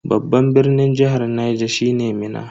Babban birnin jihar Niger shine Minna.